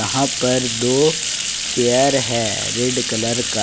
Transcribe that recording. यहां पर दो चेयर है रेड कलर का।